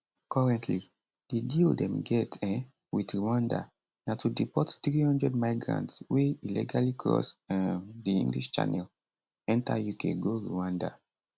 currently di deal dem get um wit rwanda na to deport 300 migrants wey illegally cross um di english channel enta uk go rwanda